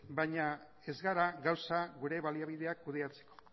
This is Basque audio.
baina ez gara gauza gure baliabideak kudeatzeko